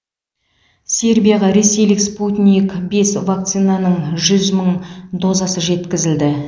сербияға ресейлік спутник бес вакцинаның жүз мың дозасы жеткізілді